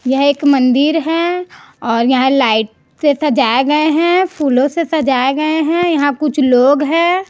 यह एक मंदिर है लाइट से सजाए गए हैं फूलों से सजाए गए हैं यहां पर कुछ लोग हैं।